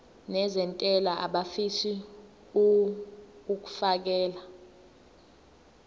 nezentela abafisa uukfakela